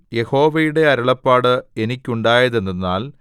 യഹോവയുടെ അരുളപ്പാട് എനിക്കുണ്ടായതെന്തെന്നാൽ